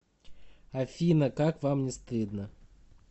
афина как вам не стыдно